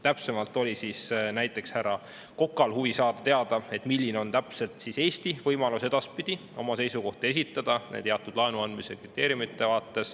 Täpsemalt oli näiteks härra Kokal huvi saada teada, milline on edaspidi Eesti võimalus esitada oma seisukohti teatud laenuandmise kriteeriumide kohta.